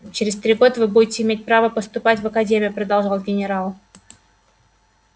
через три года вы будете иметь право поступать в академию продолжал генерал